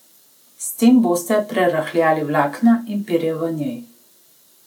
S tem boste prerahljali vlakna in perje v njej.